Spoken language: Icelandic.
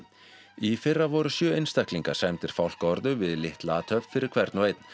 í fyrra voru sjö einstaklingar sæmdir fálkaorðu við litla athöfn fyrir hvern og einn